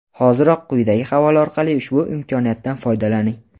Hoziroq quyidagi havola orqali ushbu imkoniyatdan foydalaning!.